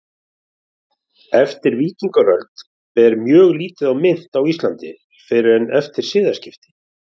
Eftir víkingaöld ber mjög lítið á mynt á Íslandi fyrr en eftir siðaskipti.